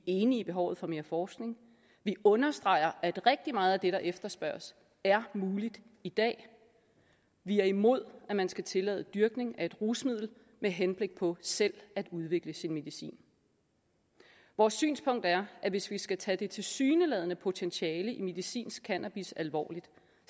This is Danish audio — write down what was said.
enige i behovet for mere forskning vi understreger at rigtig meget af det der efterspørges er muligt i dag vi er imod at man skal tillade dyrkning af et rusmiddel med henblik på selv at udvikle sin medicin vores synspunkt er at hvis vi skal tage det tilsyneladende potentiale i medicinsk cannabis alvorligt